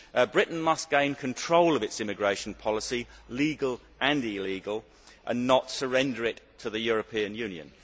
Britain must gain control of its immigration policy, legal and illegal, and not surrender it to the European Union.